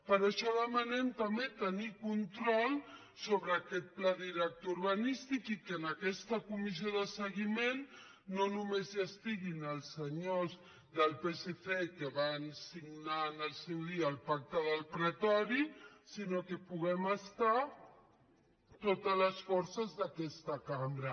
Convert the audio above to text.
per això demanem també tenir control sobre aquest pla director urbanístic i que en aquesta comissió de seguiment no només hi estiguin els senyors del psc que van signar en el seu dia el pacte del pretori sinó que hi puguem ser totes les forces d’aquesta cambra